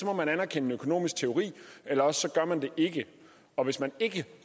må man anerkende en økonomisk teori eller også gør man det ikke og hvis man ikke